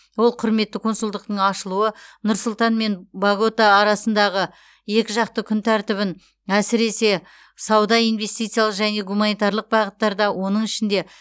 ол құрметті консулдықтың ашылуы нұрс сұлтан мен богота арасындағы екіжақты күн тәртібін әсіресе сауда инвестициялық және гуманитарлық бағыттарда оның ішінде